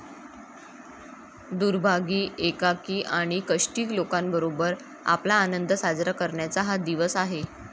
दुर्भागी, एकाकी आणि कष्टी लोकांबरोबर आपला आनंद साजरा करण्याचा हा दिवस आहे.